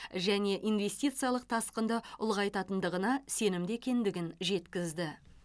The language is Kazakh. және инвестициялық тасқынды ұлғайтатындығына сенімді екендігін жеткізді